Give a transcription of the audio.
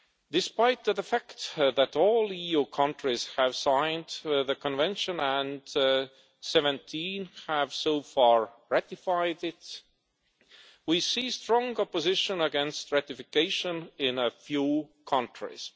Despite the fact that all EU countries have signed the Convention and 17 have so far ratified it, we see strong opposition against ratification in a few countries.